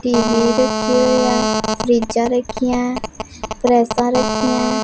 TV रखी हुई है फ़्रिज्जा रखी है प्रेसा रखी है।